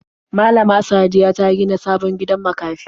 Malama Sadiya ta gina sabon gidan makafi.